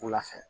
Wula fɛ